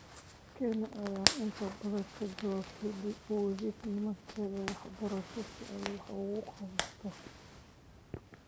Kenya ayaa inta badan kaga jawaabtay dib u eegis nidaamkeeda waxbarasho si ay wax uga qabato.